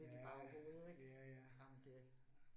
Ja, ja ja, ja